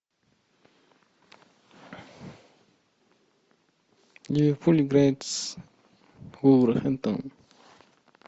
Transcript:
ливерпуль играет с вулверхэмптоном